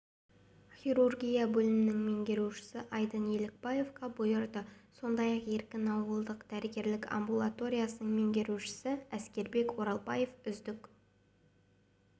хирургия бөлімінің меңгерушісі айдын елікбаевқа бұйырды сондай-ақ еркін ауылдық дәрігерлік амбулаториясының меңгерушісі әскербек оралбаев үздік